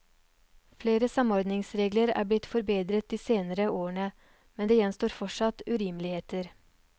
Flere samordningsregler er blitt forbedret de senere årene, men det gjenstår fortsatt urimeligheter.